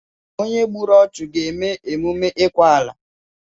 Onye gbùrù ọchu ga eme emume ikwa ala